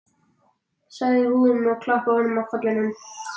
sagði hún og klappaði honum á kollinn.